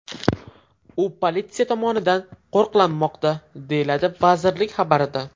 U politsiya tomonidan qo‘riqlanmoqda”, deyiladi vazirlik xabarida.